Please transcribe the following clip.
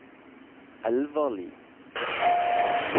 Elvarli